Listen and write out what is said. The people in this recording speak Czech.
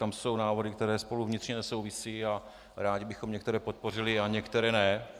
Tam jsou návrhy, které spolu vnitřně nesouvisí, a rádi bychom některé podpořili a některé ne.